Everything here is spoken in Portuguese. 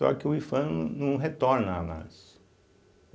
Só que o Ifam não não retorna a análise.